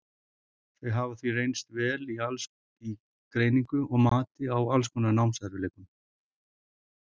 þau hafa því reynst vel í greiningu og mati á alls konar námserfiðleikum